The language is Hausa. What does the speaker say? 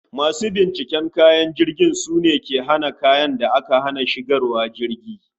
Masu binciken kaya a filin jirgi sune ke hana kayan da aka hana shigarwa jirgi